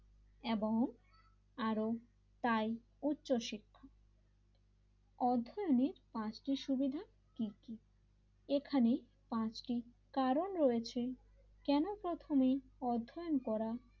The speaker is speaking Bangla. এবং আরও তাই উচ্চশিক্ষা অধ্যায়নের মার্তি সুবিধা কি কি এখানে পাঁচটি কারণ রয়েছে কেন প্রথমে এই অধ্যায়ন করা,